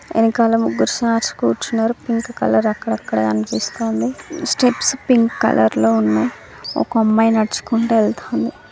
ఎనకాల ముగ్గురు సార్స్ కూర్చున్నరు. పింక్ కలర్ అక్కడక్కడా కనిపిస్తాంది స్టెప్స్ పింక్ కలర్ లో ఉన్నాయ్ ఒక అమ్మాయి నడుచుకుంటా వెళ్తాన్ది.